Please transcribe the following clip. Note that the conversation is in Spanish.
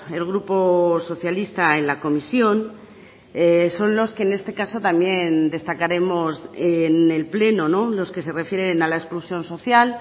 el grupo socialista en la comisión son los que en este caso también destacaremos en el pleno los que se refieren a la exclusión social